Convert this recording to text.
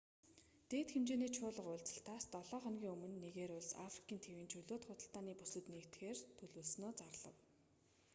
дээд хэмжээний чуулга уулзалтаас долоо хоногийн өмнө нигери улс африк тивийн чөлөөт худалдааны бүсэд нэгдэхээр төлөвлөснөө зарлав